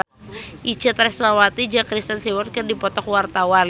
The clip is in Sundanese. Itje Tresnawati jeung Kristen Stewart keur dipoto ku wartawan